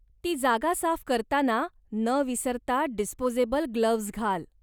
ती जागा साफ करताना न विसरता डिस्पोजेबल ग्लोव्हज घाल.